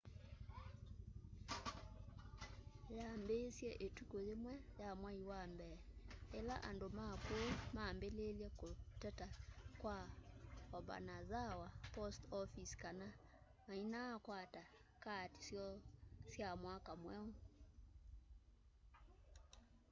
yambiisye ituku yimwe ya mwai wa mbee ila andu ma kuu mambiiiye kuteta kwa obanazawa post office kana mainakwata kaati syoo sya mwaka mweu